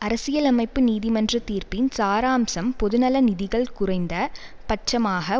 அரசியலமைப்பு நீதிமன்ற தீர்ப்பின் சாராம்சம் பொதுநல நிதிகள் குறைந்த பட்சமாக